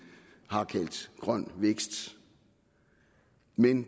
har kaldt grøn vækst men